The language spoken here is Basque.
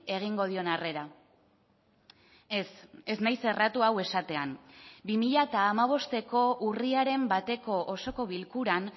egingo dion arrera ez ez naiz erratu hau esatean bi mila hamabosteko urriaren bateko osoko bilkuran